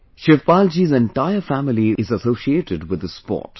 Shivpalji's entire family is associated with this sport